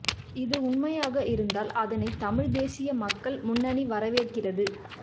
இது உண்மையாக இருந்தால் அதனை தமிழ் தேசிய மக்கள் முன்னணி வரவேற்கிறது